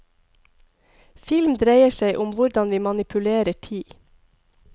Film dreier seg om hvordan vi manipulerer tid.